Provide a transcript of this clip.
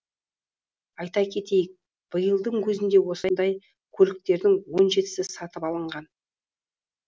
айта кетейік биылдың өзінде осындай көліктердің он жетісі сатып алынған